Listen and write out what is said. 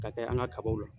Ka kɛ an ka kabaw la